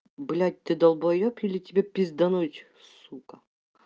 блядь ты долбаёб или тебя пиздануть сука